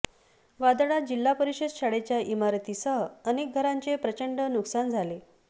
वादळात जिल्हा परिषद शाळेच्या ईमारतीसह अनेक घरांचे प्रचंड नुकसान झाले